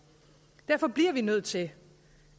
derfor bliver vi nødt til